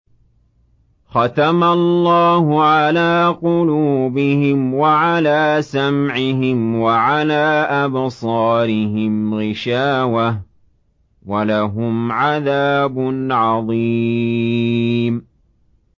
خَتَمَ اللَّهُ عَلَىٰ قُلُوبِهِمْ وَعَلَىٰ سَمْعِهِمْ ۖ وَعَلَىٰ أَبْصَارِهِمْ غِشَاوَةٌ ۖ وَلَهُمْ عَذَابٌ عَظِيمٌ